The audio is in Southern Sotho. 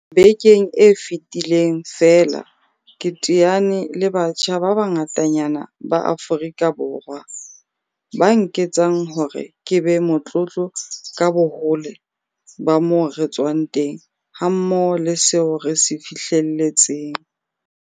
Bekeng e fetileng feela ke teane le batjha ba bangatanyana ba Aforika Borwa, ba nketsang hore ke be motlotlo ka bohole ba moo re tswang teng hammoho le seo re se fihlelletseng.